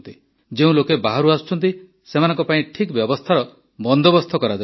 ଯେଉଁ ଲୋକେ ବାହାରୁ ଆସୁଛନ୍ତି ସେମାନଙ୍କ ପାଇଁ ଠିକ୍ ବ୍ୟବସ୍ଥାର ବନ୍ଦୋବସ୍ତ କରାଯାଉଛି